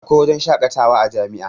Akwai wajen shakatawa a jami'a